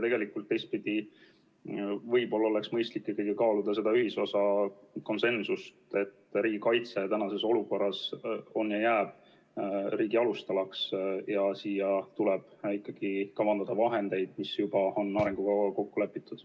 Teistpidi, võib-olla oleks mõistlik ikkagi kaaluda seda ühisosa, konsensust, et riigikaitse tänases olukorras on riigi alustala ja jääb selleks, ja siia tuleb kavandada vahendeid, mis juba on arengukavas kokku lepitud.